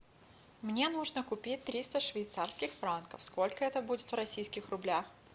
мне нужно купить триста швейцарских франков сколько это будет в российских рублях